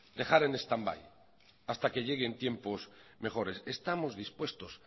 dejar en stand by hasta que lleguen tiempos mejores estamos dispuestos